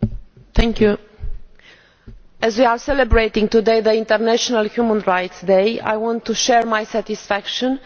Madam President, as we are celebrating today the International Human Rights Day, I want to share my satisfaction